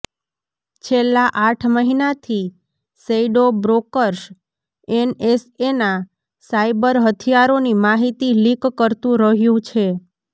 છેલ્લા આઠ મહિનાથી શૈડો બ્રોકર્સ એનએસએના સાયબર હથિયારોની માહિતી લીક કરતું રહ્યું છે